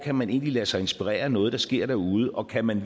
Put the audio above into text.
kan man egentlig lade sig inspirere af noget der sker derude og kan man